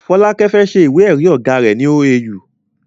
Folake fẹ́ se ìwé èrí ọ̀gá rẹ ní OAU